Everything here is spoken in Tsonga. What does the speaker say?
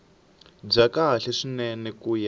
bya kahle swinene ku ya